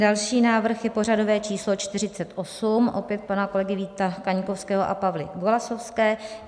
Další návrh je pořadové číslo 48, opět pana kolegy Víta Kaňkovského a Pavly Golasowské.